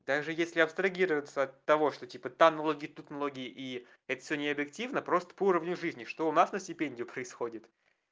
даже если абстрагироваться от того что типа там налоги тут налоги и это всё не объективно просто по уровню жизни что у нас на стипендию происходит